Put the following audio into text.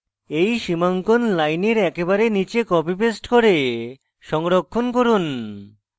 এই সীমাঙ্কন লাইনের একেবারে নীচে copypaste করে সংরক্ষণ করুন